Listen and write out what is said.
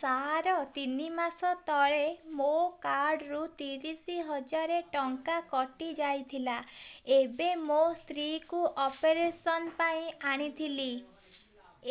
ସାର ତିନି ମାସ ତଳେ ମୋ କାର୍ଡ ରୁ ତିରିଶ ହଜାର ଟଙ୍କା କଟିଯାଇଥିଲା ଏବେ ମୋ ସ୍ତ୍ରୀ କୁ ଅପେରସନ ପାଇଁ ଆଣିଥିଲି